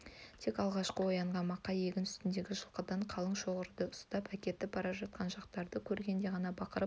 тек алғашқы оянған мақа егін үстіндегі жылқыдан қалың шоғырды ұстап әкетіп бара жатқан жатақтарды көргенде ғана бақырып